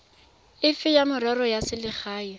efe ya merero ya selegae